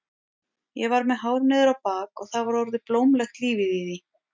Ég var með hár niður á bak og það var orðið blómlegt lífið í því.